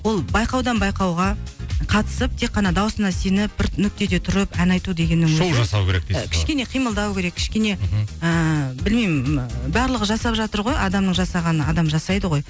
ол байқаудан байқауға қатысып тек қана дауысына сеніп бір нүктеде тұрып ән айту дегеннің өзі шоу жасау керек дейсіз ғой кішкене қимылдау керек кішкене ыыы білмеймін ыыы барлығы жасап жатыр ғой адамның жасағанын адам жасайды ғой